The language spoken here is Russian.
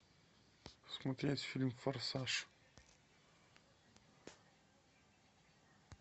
смотреть фильм форсаж